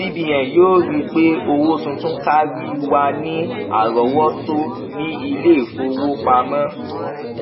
cbn yóò rí i pé owó tuntun kárí wà ní àrọwọtó ní iléìfowópamọ